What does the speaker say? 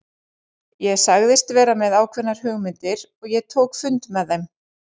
Ég sagðist vera með ákveðnar hugmyndir og ég tók fund með þeim.